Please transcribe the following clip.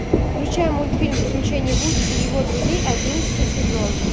включай мультфильм приключения вуди и его друзей одиннадцатый сезон